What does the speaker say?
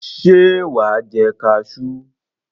Ṣé wà á jẹ kaṣú?